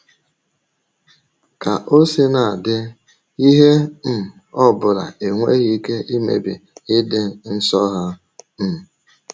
Ka o sina dị, ihe um ọ bụla enweghị ike imebi ịdị nsọ ha. um